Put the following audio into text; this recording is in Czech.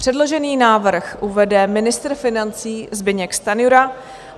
Předložený návrh uvede ministr financí Zbyněk Stanjura.